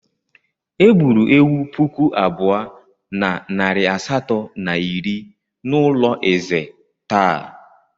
Egburu ewu puku abụọ na narị asatọ na iri n'ụlọ ezé taa.